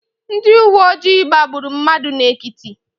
Ndị uwe ojii gbagburu mmadụ n'Ekiti.